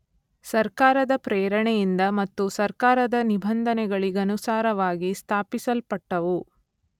ಸರ್ಕಾರದ ಪ್ರೇರಣೆಯಿಂದ ಮತ್ತು ಸರ್ಕಾರದ ನಿಬಂಧನೆಗಳಿಗನುಸಾರವಾಗಿ ಸ್ಥಾಪಿಸಲ್ಪಟ್ಟವು.